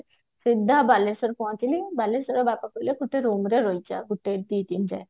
ସିଧା ବାଲେଶ୍ଵର ପହଞ୍ଚିଲି ବାଲେଶ୍ବରରେ ବାପା କହିଲେ ଟିକେ room ରେ ରହିଜା ଗୋଟେ ଦି ଦିନ ଯାଏ